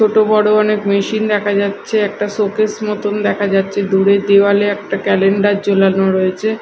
ছোট বড় অনেক মেশিন দেখা যাচ্ছে একটা শোকেস মতন দেখা যাচ্ছে দূরে দেওয়ালে একটা ক্যালেন্ডার ঝুলানো রয়েছে।